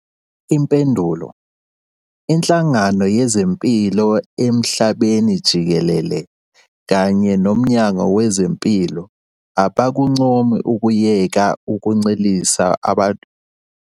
Impendulo- Inhlangano Yezempilo Emhlabeni Jikelele kanye noMnyango Wezempilo abakuncomi ukuyeka ukuncelisa umntwana ibele ukuze ugomele iCOVID-19.